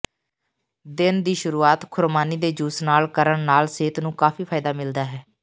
ਦਿਨ ਦੀ ਸ਼ੁਰੂਆਤ ਖੁਰਮਾਨੀ ਦੇ ਜੂਸ ਨਾਲ ਕਰਣ ਨਾਲ ਸਿਹਤ ਨੂੰ ਕਾਫ਼ੀ ਫਾਇਦਾ ਮਿਲਦਾ ਹੈ